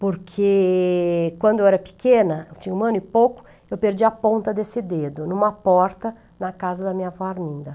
Porque quando eu era pequena, tinha um ano e pouco, eu perdi a ponta desse dedo, numa porta na casa da minha avó Arminda.